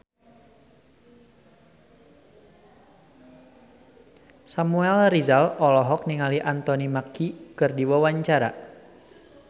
Samuel Rizal olohok ningali Anthony Mackie keur diwawancara